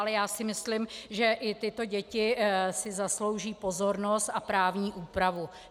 Ale já si myslím, že i tyto děti si zaslouží pozornost a právní úpravu.